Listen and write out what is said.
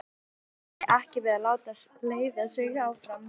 Hún hikaði ekki við að láta leiða sig áfram.